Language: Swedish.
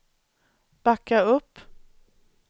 backa upp